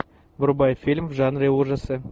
врубай фильм в жанре ужасы